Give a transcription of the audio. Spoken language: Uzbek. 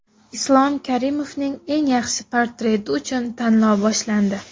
Islom Karimovning eng yaxshi portreti uchun tanlov boshlandi .